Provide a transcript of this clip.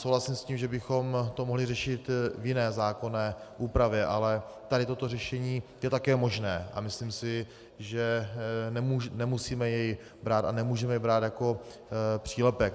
Souhlasím s tím, že bychom to mohli řešit v jiné zákonné úpravě, ale tady toto řešení je také možné a myslím si, že nemusíme jej brát a nemůžeme jej brát jako přílepek.